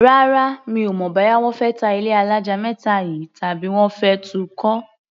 Rárá, mi ò mọ̀ bóyá wọ́n fẹ́ ta ilé alájà méta yìí, tàbí wọ́n fẹ́ tun kọ́.